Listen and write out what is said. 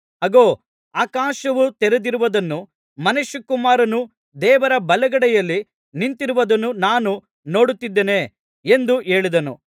ಅಗೋ ಆಕಾಶವು ತೆರೆದಿರುವುದನ್ನೂ ಮನುಷ್ಯಕುಮಾರನು ದೇವರ ಬಲಗಡೆಯಲ್ಲಿ ನಿಂತಿರುವುದನ್ನೂ ನಾನು ನೋಡುತ್ತಿದ್ದೇನೆ ಎಂದು ಹೇಳಿದನು